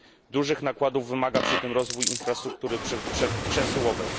Dużych nakładów wymaga przy tym rozwój infrastruktury przesyłowej.